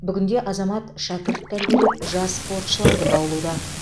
бүгінде азамат шәкірт тәрбиелеп жас спортшыларды баулуда